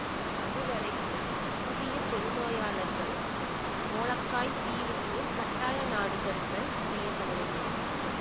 அதுவரையிலும் புதிய தொழுநோயாளர்கள் மோலக்காய் தீவுக்குக் கட்டாய நாடுகடுத்தல் செய்ய படவில்லை